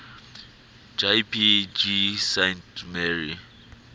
jpg saint mary